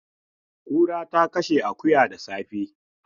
Kura ta kashe akuya da safe.